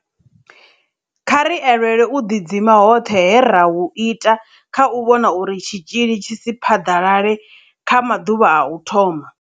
Kha ri elelwe u ḓidzima hoṱhe he ra hu ita kha u vhona uri tshitzhili tshi si phaḓalale kha maḓuvha a u thoma.